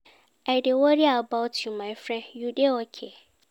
I dey worry about you my friend, you dey okay?